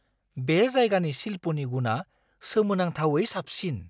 बे जायगानि शिल्पनि गुनआ सोमोनांथावै साबसिन!